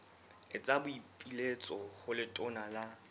etsa boipiletso ho letona la